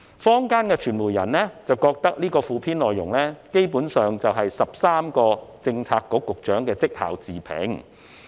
坊間的傳媒人認為，附篇內容基本上是13位政策局局長的績效自評。